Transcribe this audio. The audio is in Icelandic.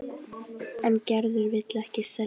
En Gerður vill ekki selja.